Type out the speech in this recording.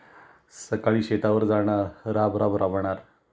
सकाळी शेतावर जाणार राब राब राबणार,